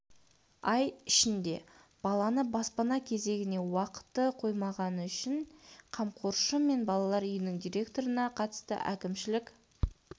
ай ішінде баланы баспана кезегіне уақыты қоймағаны үшін қамқоршы мен балалар үйінің директорына қатысты әкімшілік